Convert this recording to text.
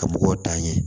Ka mɔgɔw dan ye